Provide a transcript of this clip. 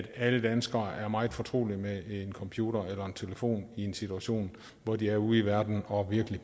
alle danskere er meget fortrolige med en computer eller en telefon i en situation hvor de er ude i verden og virkelig